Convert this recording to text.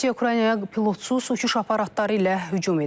Rusiya Ukraynaya pilotsuz uçuş aparatları ilə hücum edib.